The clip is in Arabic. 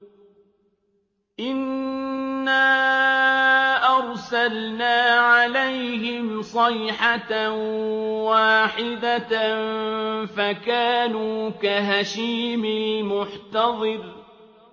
إِنَّا أَرْسَلْنَا عَلَيْهِمْ صَيْحَةً وَاحِدَةً فَكَانُوا كَهَشِيمِ الْمُحْتَظِرِ